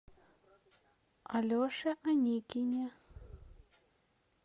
алеше аникине